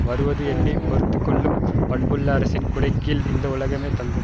வருவது எண்ணி பொறுத்து கொள்ளும் பண்புள்ள அரசின் குடை கீழ் இந்த உலகமே தங்கும்